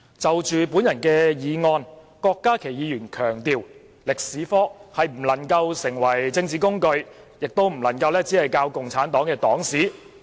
就我的議案，郭議員強調中史科不能成為政治工具，亦不能只教授共產黨黨史。